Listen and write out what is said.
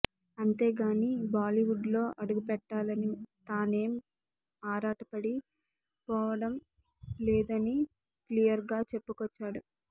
అంతేగానీ బాలీవుడ్లో అడుగుపెట్టాలని తానేం ఆరాటపడి పోవడం లేదని క్లియర్గా చెప్పుకొచ్చాడు